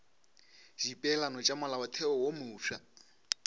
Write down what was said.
dipeelano tša molaotheo wo mofsa